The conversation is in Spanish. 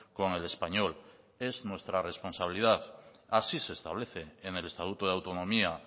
con el español es nuestra responsabilidad así se establece en el estatuto de autonomía